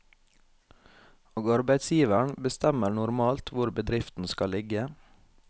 Og arbeidsgiveren bestemmer normalt hvor bedriften skal ligge.